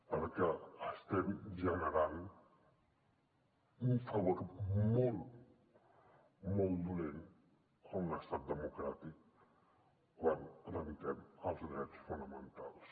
perquè estem generant un favor molt molt dolent a un estat democràtic quan trenquem els drets fonamentals